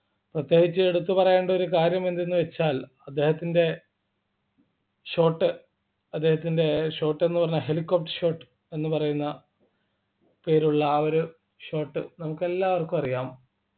പ്രത്യേകിച്ച് എടുത്തു പറയേണ്ട ഒരു കാര്യം എന്തെന്ന് വെച്ചാൽ അദ്ദേഹത്തിൻ്റെ short അദ്ദേഹത്തിൻ്റെ short എന്ന് പറഞ്ഞാൽ Helicopter short എന്ന് പറയുന്ന പേരുള്ള ആ ഒരു short നമുക്കെല്ലാവർക്കും അറിയാം